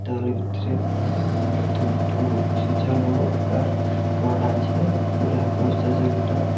ডাবলের ভিতরে দুটো সূচালোকার রড আছে একটা।